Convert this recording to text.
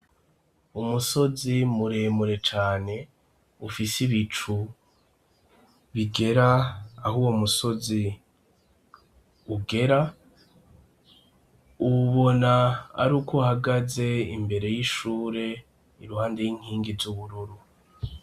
Umusozi muremure cane ufise ibicu bigera aho uwo musozi ugera, uwubona ar'uko uhagaze imbere y'ishure iruhande y'inkingi z'Ubururu.